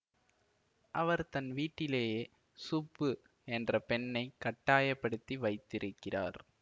அவர் தன் வீட்டிலேயே சுப்பு என்ற பெண்ணை கட்டாயப்படுத்தி வைத்திருக்கிறார்